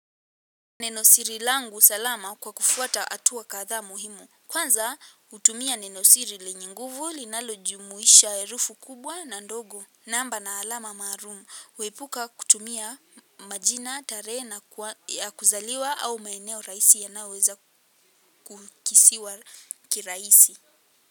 Nenosiri langu salama kwa kufuata hatua kadhaa muhimu. Kwanza utumia nenosiri lenye nguvu linalo jumuisha erufi kubwa na ndogo. Namba na alama maarum. Kuepuka kutumia majina, tarehe na kuzaliwa au maeneo raisi yanaoza kukisiwa kiraisi.